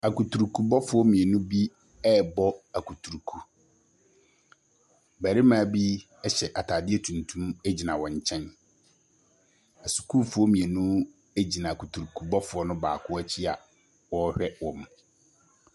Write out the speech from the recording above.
Akuturukubɔfoɔ mmienu bi rebɔ akuturuku. Barima bi ɛhyɛ ataadeɛ tuntum egyina wɔn nkyɛn. Ɛsukuufoɔ mmienu egyina akuturukubɔfoɔ no baako ɛkyi a ɔrehwɛ wɔn.